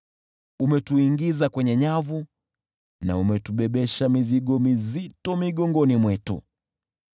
Umetuingiza kwenye nyavu na umetubebesha mizigo mizito migongoni mwetu.